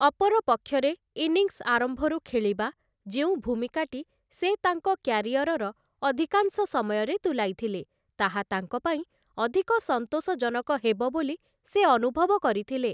ଅପରପକ୍ଷରେ, ଇନିଂସ୍ ଆରମ୍ଭରୁ ଖେଳିବା, ଯେଉଁ ଭୂମିକାଟି ସେ ତାଙ୍କ କ୍ୟାରିଅରର ଅଧିକାଂଶ ସମୟରେ ତୁଲାଇଥିଲେ, ତାହା ତାଙ୍କ ପାଇଁ ଅଧିକ ସନ୍ତୋଷଜନକ ହେବ ବୋଲି ସେ ଅନୁଭବ କରିଥିଲେ ।